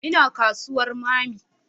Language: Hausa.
Ina kasuwar mammy